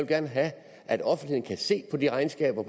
gerne have at offentligheden kan se de regnskaber